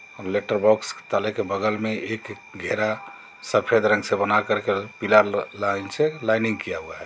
Letter box ताले के बगल में एक घेरा सफ़ेद रंग से बना कर पीला लाइन से लाइनिंग किया हुआ है.